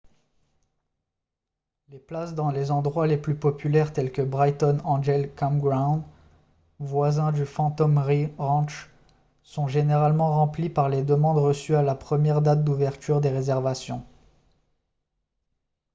les places dans les endroits les plus populaires tels que le bright angel campground voisin du phantom ranch sont généralement remplies par les demandes reçues à la première date d'ouverture des réservations